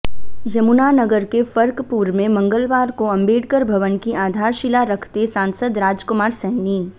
यमुनानगर के फर्कपुर में मंगलवार को अंबेडकर भवन की आधारशिला रखते सांसद राजकुमार सैनी